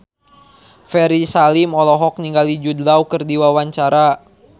Ferry Salim olohok ningali Jude Law keur diwawancara